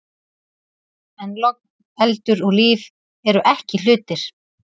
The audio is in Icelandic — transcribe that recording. En logn, eldur og líf eru ekki hlutir.